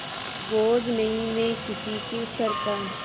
बोझ नहीं मैं किसी के सर का